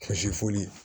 Kɔlɔsi foli